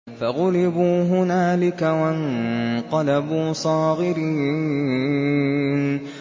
فَغُلِبُوا هُنَالِكَ وَانقَلَبُوا صَاغِرِينَ